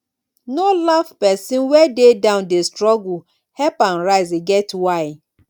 no laugh pesin wey dey down dey struggle help am rise e get why